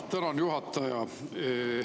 Tänan, juhataja!